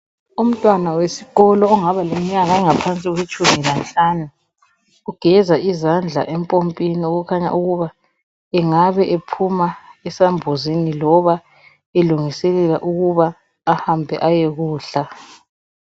Umntwana wesikolo ongaba leminyaka engaphansi kwetshumi lanhlanu ugeza izandla empompini okukhanya ukuba angabe ephuma esambuzini loba elungiselela ukuba ahambe ayekudla.